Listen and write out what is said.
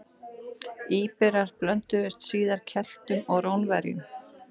Íberar blönduðust síðar Keltum og Rómverjum.